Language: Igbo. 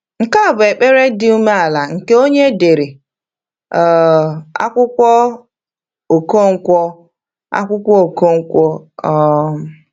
Nke a bụ ekpere dị umeala nke onye dere um akwụkwọ Okonkwo. akwụkwọ Okonkwo. um